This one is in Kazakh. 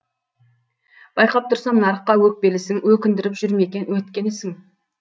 байқап тұрсам нарыққа өкпелісің өкіндіріп жүр ме екен өткен ісің